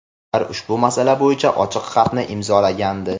Ular ushbu masala bo‘yicha ochiq xatni imzolagandi.